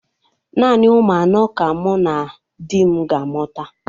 Naanị ụmụ anọ ka mụ na di m ga-amụta.